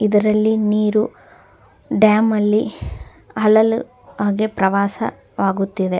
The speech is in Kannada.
ಇದರಲ್ಲಿ ನೀರು ಡ್ಯಾಮ್ ಅಲ್ಲಿ ಹಲಾಲು ಹೊಗೆ ಪ್ರವಾಸ ಆಗುತ್ತಿದೆ.